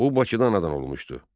O Bakıdan anadan olmuşdu.